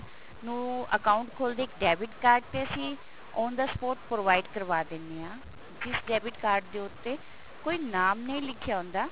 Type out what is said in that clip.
ਨੂੰ account ਖੋਲਦੇ ਇੱਕ debit card ਤੇ ਅਸੀਂ on the spot provide ਕਰਵਾ ਦਿੰਦੇ ਹਾਂ ਜਿਸ debit card ਦੇ ਉੱਤੇ ਕੋਈ ਨਾਮ ਨਹੀ ਲਿਖਿਆ ਹੁੰਦਾ